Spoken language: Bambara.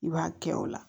I b'a kɛ o la